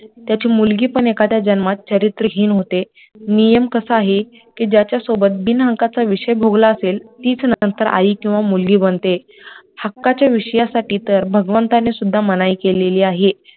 त्याची मुलगी पण एखाद्या जन्मात चारित्र्यहीन होते, नियम कसा आहे कि ज्याच्या सोबत बिनहक्काचा विषय भोगला असेल तीच नंतर आई किंवा मुलगी बनते हक्काचे विषयासाठी तर भगवंताने सुद्धा मनाई केलेली आहे